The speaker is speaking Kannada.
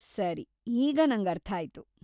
ಸರಿ, ಈಗ ನಂಗರ್ಥ ಆಯ್ತು.